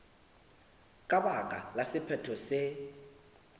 ka baka la sephetho se